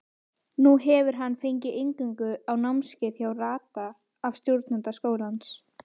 Nú hefur hann fengið inngöngu á námskeið hjá Rada af stjórnanda skólans.